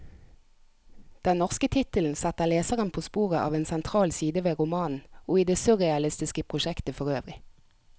Den norske tittelen setter leseren på sporet av en sentral side ved romanen, og i det surrealistiske prosjektet forøvrig.